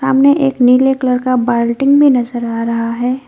सामने एक नीले कलर का बाल्टी भी नजर आ रहा है।